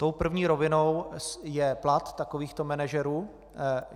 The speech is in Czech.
Tou první rovinou je plat takovýchto manažerů.